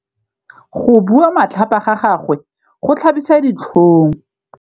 Go bua matlhapa ga gagwe go tlhabisa ditlhong.